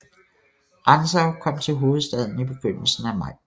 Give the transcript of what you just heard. Rantzau kom til hovedstaden i begyndelsen af maj